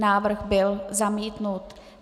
Návrh byl zamítnut.